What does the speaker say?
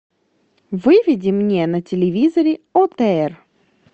выведи мне на телевизоре отр